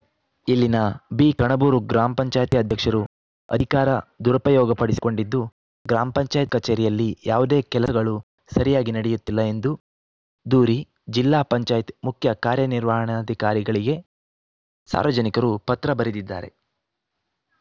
ಇಲ್ಲಿನ ಬಿ ಕಣಬೂರು ಗ್ರಾಮ್ ಪಂಚಾಯಿತಿ ಅಧ್ಯಕ್ಷರು ಅಧಿಕಾರ ದುರುಪಯೋಗಪಡಿಸಿಕೊಂಡಿದ್ದು ಗ್ರಾಮ ಪಂಚಾಯತ್ ಕಚೇರಿಯಲ್ಲಿ ಯಾವುದೇ ಕೆಲಸಗಳು ಸರಿಯಾಗಿ ನಡೆಯುತ್ತಿಲ್ಲ ಎಂದು ದೂರಿ ಜಿಲ್ಲಾ ಪಂಚಾಯಿತ್ ಮುಖ್ಯ ಕಾರ್ಯನಿರ್ವಹಣಾಧಿಕಾರಿಗಳಿಗೆ ಸಾರ್ವಜನಿಕರು ಪತ್ರ ಬರೆದಿದ್ದಾರೆ